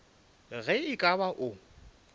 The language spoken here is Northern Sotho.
ge e ka ba o